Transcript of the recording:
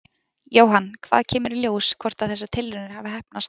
Jóhann: Hvenær kemur í ljós hvort að þessar tilraunir hafi heppnast?